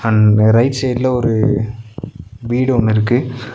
And right சைட்ல ஒரு வீடு ஒன்னுருக்கு.